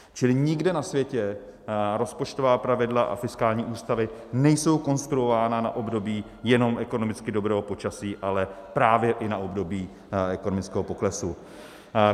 Čili nikde na světě rozpočtová pravidla a fiskální ústavy nejsou konstruovány na období jenom ekonomicky dobrého počasí, ale právě i na období ekonomického poklesu.